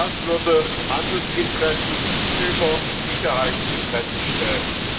Das würde Handelsinteressen über Sicherheitsinteressen stellen.